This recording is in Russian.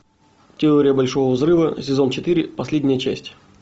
теория большого взрыва сезон четыре последняя часть